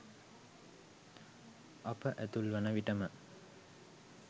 අප ඇතුල් වන විට ම